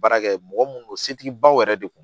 Baarakɛ mɔgɔ minnu don setigibaw yɛrɛ de kun